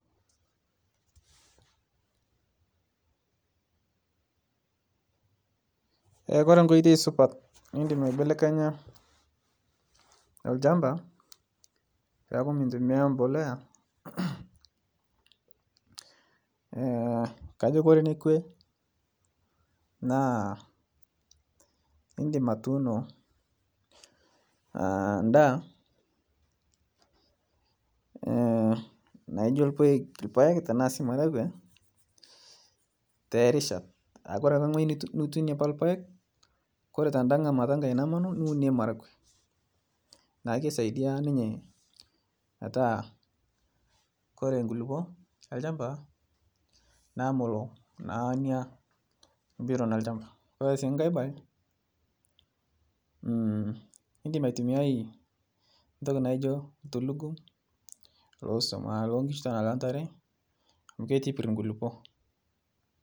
Kore enkoitoi supat niindim aibelekenya ilchamba peaku mintumiya impolea, kajo kore nekwe naa indim atuuno indaa, naijo olpaek tanaa sii ilmaragwe te rishat, kore ake eweji nituune apa ilpaek, kore tenda ng'amata namanu niunie ilmaragwe, naa keisaidia ninye mataa kore inkulupo elchamba naaa melo naa inia bioton elchamba. Ore sii enkae indim aitumiyaio ntoki naijo ltulugum loo sion aa loo inkichu tanaa loo intare amu keitibirr inkulupo.